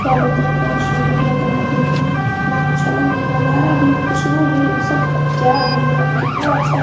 क्या बताए बहोत सुन्दर लग रहा है देखने में कितना अच्छा लग रहा है नजारा भी खुशबु भी ई सब का क्या है यार कितना अच्छा। --